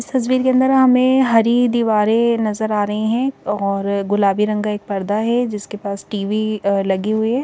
इस तस्वीर के अंदर हमें हरी दीवारें नजर आ रही है और गुलाबी रंग का एक पर्दा है जिसके पास टीवी लगी हुई है।